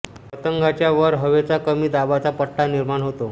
पतंगाच्या वर हवेचा कमी दाबाचा पट्टा निर्माण होतो